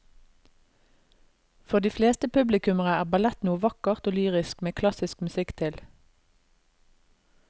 For de fleste publikummere er ballett noe vakkert og lyrisk med klassisk musikk til.